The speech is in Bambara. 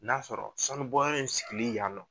N'a sɔrɔ sanubɔyɔrɔ in sigili yan nɔ